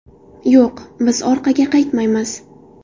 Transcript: Yo‘q, biz orqaga qaytmaymiz.